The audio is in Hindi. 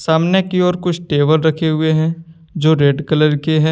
सामने की और कुछ टेबल रखे हुए हैं जो रेड कलर के हैं।